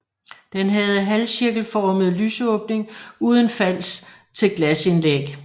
Den havde halvcirkelformet lysåbning uden fals til glasindlæg